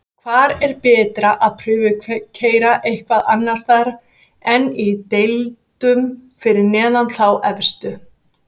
Hvar er betra að prufukeyra þetta annarsstaðar en í deildum fyrir neðan þá efstu??